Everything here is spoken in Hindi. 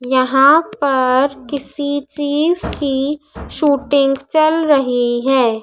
यहां पर किसी चीज की शूटिंग चल रही है।